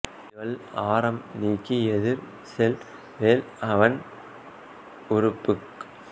திவள் ஆரம் நீக்கி எதிர் செல் வேள் அவன் உறுப்புக்